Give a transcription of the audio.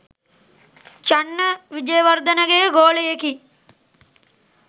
චන්න විජේවර්ධනගේ ගෝලයෙකි.